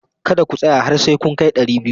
Kada ku tsaya har sai kun kai dari biyu!